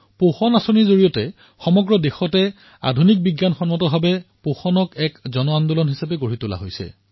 পোষণ অভিযানৰ অন্তৰ্গত সমগ্ৰ দেশতে আধুনিক বৈজ্ঞানিক পদ্ধতিত পোষণক জনআন্দোলনলৈ পৰিৱৰ্তন কৰা হৈছে